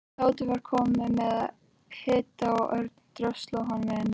Tóti var kominn með hita og Örn dröslaði honum inn.